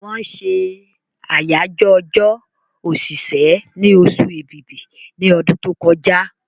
Wọ́n ṣe àyájọ́ ọjọ́ òṣìṣẹ́ ni osù èbìbí ní ọdún tó kọjá